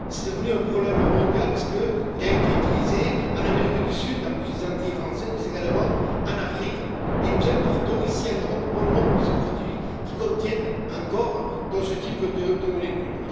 C'est devenu un problème mondial parce qu'il a été utilisé en Amérique du Sud, en plus des Antilles françaises, mais également en Afrique, et nous importons ici en Europe bon nombre de ces produits qui contiennent encore ce type de molécules.